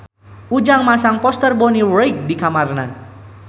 Ujang masang poster Bonnie Wright di kamarna